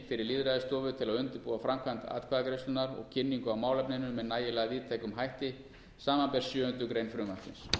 fyrir lýðræðisstofu til að undirbúa framkvæmd atkvæðagreiðslunnar og kynningu á málefninu með nægilega víðtækum hætti samanber sjöundu greinar frumvarpsins